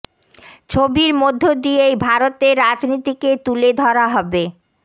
ছবির মধ্য দিয়েই ভারতের রাজনীতিকে তুলে ধরা হবে